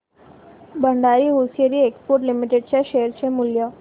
Bhandari hosiery exports limited च्या share चे मूल्य